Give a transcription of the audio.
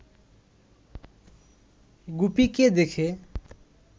গুপিকে দেখে